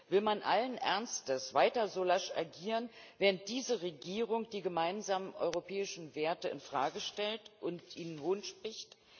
Will man allen Ernstes weiter so lasch agieren, wenn diese Regierung die gemeinsamen europäischen Werte in Frage stellt und ihnen hohnspricht?